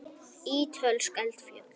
Ítölsk eldfjöll.